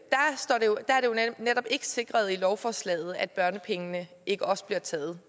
netop ikke sikret i lovforslaget at børnepengene ikke også bliver taget